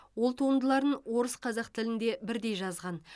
ол туындыларын орыс қазақ тілінде бірдей жазған